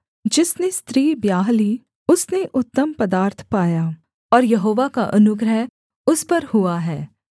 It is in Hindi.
जिसने स्त्री ब्याह ली उसने उत्तम पदार्थ पाया और यहोवा का अनुग्रह उस पर हुआ है